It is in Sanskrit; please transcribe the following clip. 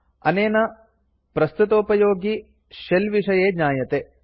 अनेन प्रस्तुतोपयोगि शेल विषये ज्ञायते